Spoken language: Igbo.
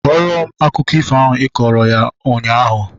Kọrọ m akụkọ ifo ahu ịkọrọ ha ụnyaahụ!